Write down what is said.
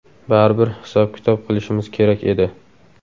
Baribir hisob-kitob qilishimiz kerak edi.